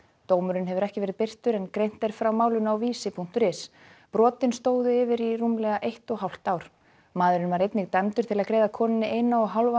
dómurinn hefur ekki verið birtur en greint er frá málinu á Vísi punktur is brotin stóðu yfir í rúmlega eitt og hálft ár maðurinn var einnig dæmdur til að greiða konunni eina og hálfa